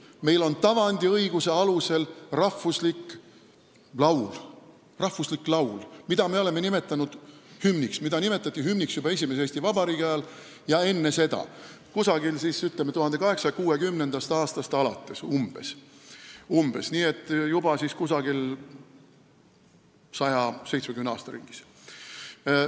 Meil on tavandiõiguse alusel rahvuslik laul, mida me oleme nimetanud hümniks, mida nimetati hümniks juba esimese Eesti Vabariigi ajal ja enne seda, umbes 1860. aastast alates, nii et juba 170 aasta ringis.